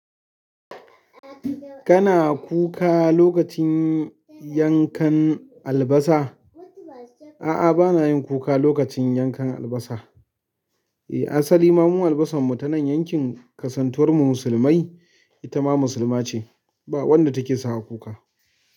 Kana kuka lokacin yankan albasa? A'a, bana yin kuka lokacin yankan albasa. Eh, asali ma mu albasarmu ta nan yankin kasantuwar mu musulmai. Itama musulma ce. Ba wanda take sawa kuka.